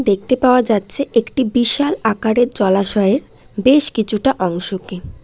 দেখতে পাওয়া যাচ্ছে একটি বিশাল আকারের জলাশয়ের বেশ কিছুটা অংশকে ।